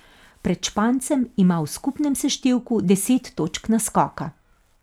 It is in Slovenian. Pred Špancem ima v skupnem seštevku deset točk naskoka.